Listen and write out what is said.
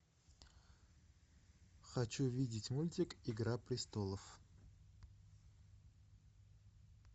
хочу видеть мультик игра престолов